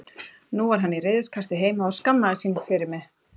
Nú var hann í reiðikasti heima og skammaðist sín fyrir mig.